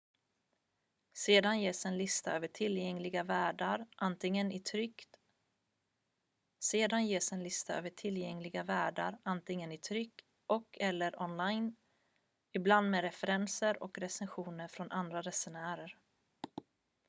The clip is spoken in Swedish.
sedan ges en lista över tillgängliga värdar antingen i tryck och/eller online ibland med referenser och recensioner från andra resenärer